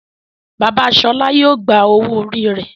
Bàbá Shola yíò gbà owo orí rẹ.